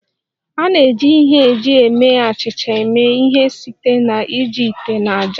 A na-eji ihe eji eme achịcha eme ihe site na iji ite na ájá